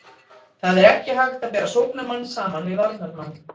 Það er ekki hægt að bera sóknarmann saman við varnarmann.